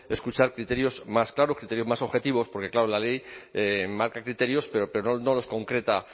escuchar criterios más claros criterios más objetivos porque claro la ley marca criterios pero no los concreta